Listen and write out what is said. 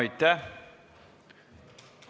Aitäh!